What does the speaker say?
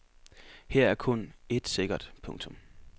Her er kun et sikkert. punktum